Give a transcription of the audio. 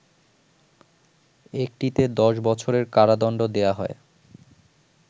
একটিতে ১০ বছরের কারাদণ্ড দেয়া হয়